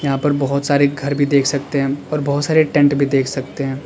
यहां पर बहुत सारे घर भी देख सकते हैं हम और बहुत सारे टेंट भी देख सकते हैं हम।